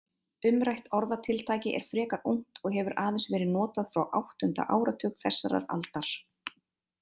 Umrætt orðatiltæki er frekar ungt og hefur aðeins verið notað frá áttunda áratug þessarar aldar.